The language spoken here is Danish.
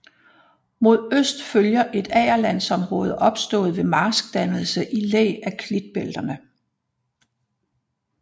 Mod øst følger et agerlandsområde opstået ved marskdannelse i læ af klitbælterne